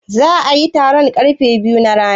Za'a yi taron karfe biyu na rana?